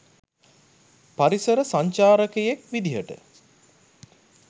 පරිසර සංචාරකයෙක් විදිහට